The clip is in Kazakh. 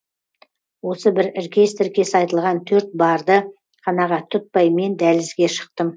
осы бір іркес тіркес айтылған төрт барды қанағат тұтпай мен дәлізге шықтым